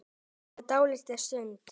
Hann hikaði dálitla stund.